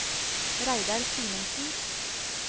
Reidar Simensen